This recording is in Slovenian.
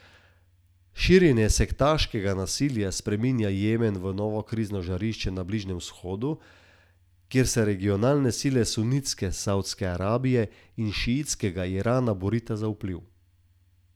Širjenje sektaškega nasilja spreminja Jemen v novo krizno žarišče na Bližnjem Vzhodu, kjer se regionalne sile sunitske Savdske Arabije in šiitskega Irana borita za vpliv.